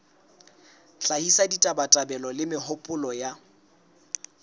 hlahisa ditabatabelo le mehopolo ya